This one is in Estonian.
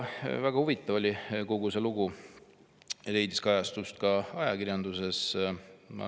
Väga huvitav oli kogu see lugu, see leidis kajastust ka ajakirjanduses.